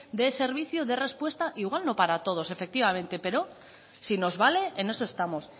dé servicio de respuesta igual no para todos efectivamente pero si nos vale en eso estamos